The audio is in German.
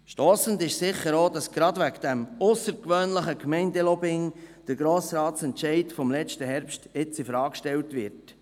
Stossend ist sicher, dass gerade wegen dieses aussergewöhnlichen Gemeinde-Lobbyings der Entscheid des Grossen Rates vom vergangenen Herbst jetzt infrage gestellt wird.